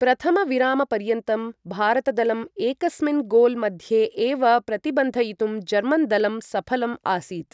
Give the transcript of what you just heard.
प्रथमविरामपर्यन्तं भारत दलं एकस्मिन् गोल् मध्ये एव प्रतिबन्धयितुं जर्मन् दलं सफलम् आसीत्।